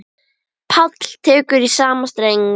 Páll tekur í sama streng.